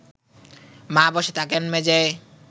মা বসে থাকেন মেঝেয়